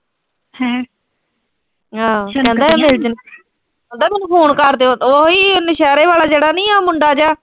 ਹਾਂ ਆਹਦਾ ਮੈਨੂੰ ਫੋਨ ਕਰਦਿਓ, ਉਹੀ ਉਹ ਨੌਸ਼ਿਹਰੇ ਵਾਲਾ ਨੀਂ ਆ ਉਹ ਮੁੰਡਾ ਜਿਆ।